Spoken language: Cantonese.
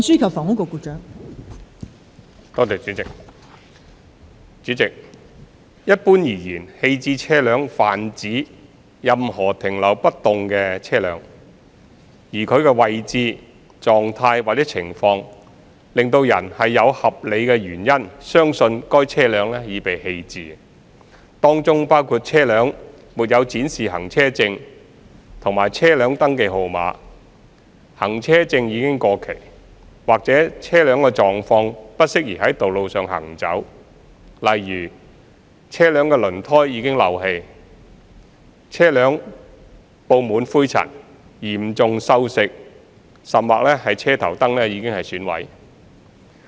代理主席，一般而言，棄置車輛泛指任何停留不動的車輛，而其位置、狀態或情況使人有合理原因相信該車輛已被棄置，當中包括車輛沒有展示行車證和車輛登記號碼、行車證已過期，或車輛狀況不適宜在道路上行走，例如車輛輪胎已漏氣、車輛布滿灰塵、嚴重鏽蝕，甚或車頭燈已損毀等。